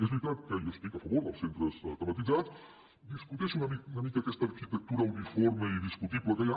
és veritat que jo estic a favor dels centres tematitzats discuteixo una mica aquesta arquitectura uniforme i discutible que hi ha